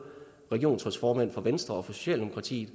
regionsrådsformænd fra venstre og socialdemokratiet